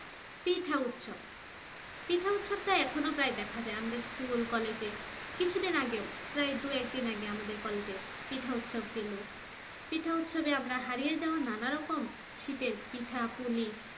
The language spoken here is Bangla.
পিঠা উৎসব পিঠা উৎসব এখনো প্রায় দেখা যায় আমাদের school college কিছুদিন আগেও প্রায় দুই একদিন আগে আমাদের college এ পিঠা উৎসব গেল পিঠা উৎসবে আমরা হারিয়ে যাওয়া নানারকম শীতের পিঠাপুলি